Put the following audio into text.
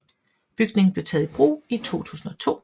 Bygningen blev taget i brug i 2002